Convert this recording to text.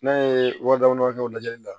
N'a ye wa dama dama dɔ kɛ o lajɛli la